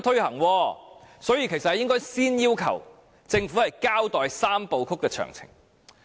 因此，其實我們應該先要求政府交代"三步走"的詳情。